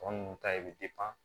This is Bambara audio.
Tɔ ninnu ta ye bi